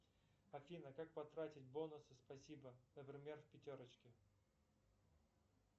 афина как потратить бонусы спасибо например в пятерочке